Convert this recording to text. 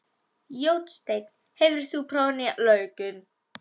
Jósteinn, hefur þú prófað nýja leikinn?